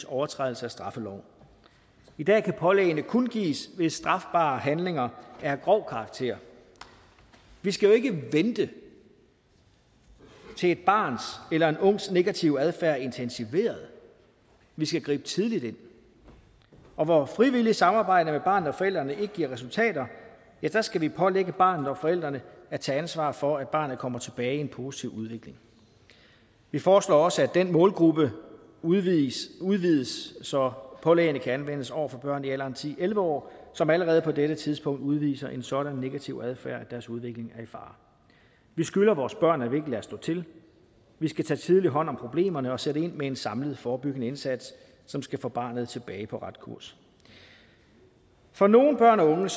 overtrædelse af straffeloven i dag kan pålæggene kun gives ved strafbare handlinger af grov karakter vi skal jo ikke vente til et barns eller en ungs negative adfærd er intensiveret vi skal gribe tidligt ind og hvor frivilligt samarbejde mellem barnet og forældrene ikke giver resultater skal vi pålægge barnet og forældrene at tage ansvar for at barnet kommer tilbage i en positiv udvikling vi foreslår også at den målgruppe udvides udvides så pålæggene kan anvendes over for børn i alderen ti til elleve år som allerede på dette tidspunkt udviser en sådan negativ adfærd at deres udvikling er i fare vi skylder vores børn at vi ikke lader stå til vi skal tage tidlig hånd om problemerne og sætte ind med en samlet forebyggende indsats som skal få barnet tilbage på ret kurs for nogle børn og unge